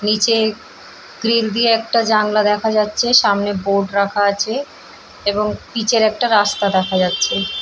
নীচে গ্রিল দিয়ে একটি জানলা দেখা যাচ্ছে। সামনে বোর্ড রাখা আছে এবং পিচের একটা রাস্তা দেখা যাচ্ছে।